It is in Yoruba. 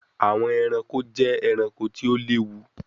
Awọn ẹranko jẹ ẹranko ti o lewu